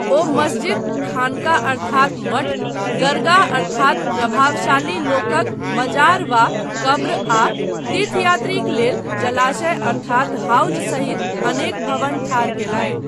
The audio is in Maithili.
ओ मस्जिद, खानका अर्थात मठ, दरगाह अर्थात प्रभावशाली लोकक मजार वा कब्र आ तीर्थयात्रीक लेल जलाशय अर्थात हाउज सहित अनेक भवन ठाढ़ कयलनि।